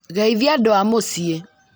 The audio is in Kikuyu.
Geithia andũ a mũciĩ